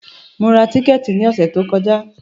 Mo ra tíkẹ̀tì ní ọ̀sẹ̀ tí o kọjá.